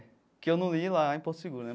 Que eu não li lá em Porto Seguro.